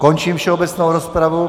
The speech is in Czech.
Končím všeobecnou rozpravu.